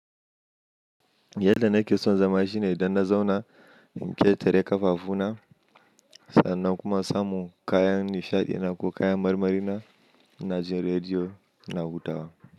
Yadda nake son zama shine idan na zauna in ƙetare ƙafafu na sannan kuma samu kayan nishaɗi na ko kayan marmari na, na ji rediyo na hutawa.